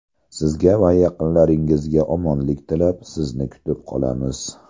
Sizga va yaqinlaringizga omonlik tilab, sizni kutib qolamiz!